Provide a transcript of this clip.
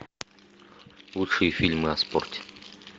лучшие фильмы о спорте